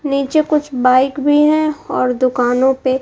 नीचे कुछ बाइक भी है और दुकानों पे--